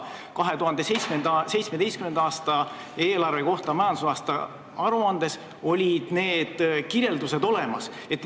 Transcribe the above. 2017. aasta eelarve kohta olid need kirjeldused majandusaasta aruandes olemas.